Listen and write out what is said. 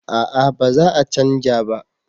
A'a ba za a canja ba